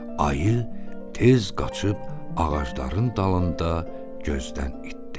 Ayı tez qaçıb ağacların dalında gözdən itdi.